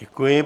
Děkuji.